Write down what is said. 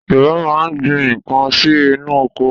Yorùbá máa ń gbin nǹkan sí inú oko.